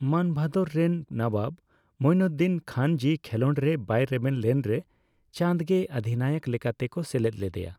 ᱢᱟᱱᱵᱷᱟᱫᱚᱨ ᱨᱮᱱ ᱱᱚᱵᱟᱵᱽ ᱢᱩᱭᱱᱩᱫᱽᱫᱤᱱ ᱠᱷᱟᱱᱡᱤ ᱠᱷᱮᱞᱳᱰ ᱨᱮ ᱵᱟᱭ ᱨᱮᱵᱮᱱ ᱞᱮᱱᱨᱮ ᱪᱟᱸᱫᱽᱜᱮ ᱚᱫᱷᱤᱱᱟᱭᱚᱠ ᱞᱮᱠᱟᱛᱮᱠᱚ ᱥᱮᱞᱮᱫ ᱞᱮᱫᱮᱭᱟ ᱾